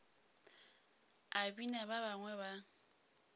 a bina ba bangwe ba